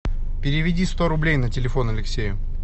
переведи сто рублей на телефон алексею